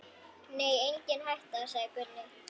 Nei, engin hætta, sagði Gunni.